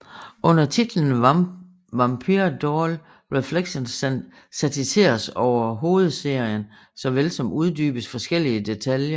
Under titlen Vampire Doll Reflections satiseres over hoedserien såvel som uddybes forskellige detaljer